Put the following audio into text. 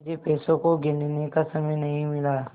मुझे पैसों को गिनने का समय नहीं मिला